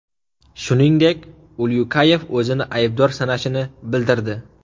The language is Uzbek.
Shuningdek, Ulyukayev o‘zini aybdor sanashini bildirdi.